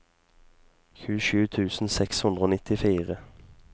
tjuesju tusen seks hundre og nittifire